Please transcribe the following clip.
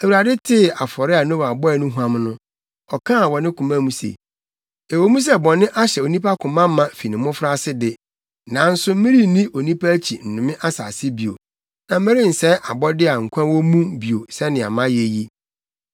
Awurade tee afɔre a Noa bɔe no huam no, ɔkaa wɔ ne koma mu se, “Ɛwɔ mu sɛ bɔne ahyɛ onipa koma ma fi ne mmofraase de, nanso merenni onipa akyi nnome asase bio. Na merensɛe abɔde a nkwa wɔ mu bio sɛnea mayɛ yi.